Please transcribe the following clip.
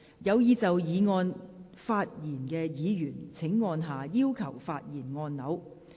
有意就議案發言的議員請按下"要求發言"按鈕。